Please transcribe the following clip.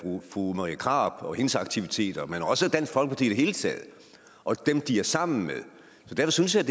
fru marie krarup og hendes aktiviteter men også af dansk folkeparti i det hele taget og dem de er sammen med så derfor synes jeg at